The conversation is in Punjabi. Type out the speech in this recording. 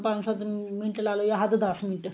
ਪੰਜ ਸੱਤ ਮਿੰਟ ਲਾ ਲਾਓ ਜਾਂ ਹੱਦ ਦਸ ਮਿੰਟ